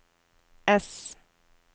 ess